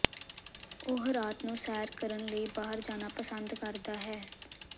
ਉਹ ਰਾਤ ਨੂੰ ਸੈਰ ਕਰਨ ਲਈ ਬਾਹਰ ਜਾਣਾ ਪਸੰਦ ਕਰਦਾ ਹੈ